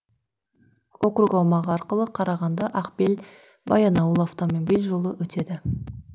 округ аумағы арқылы қарағанды ақбел баянауыл автомобиль жолы өтеді